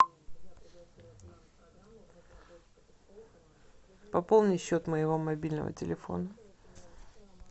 пополни счет моего мобильного телефона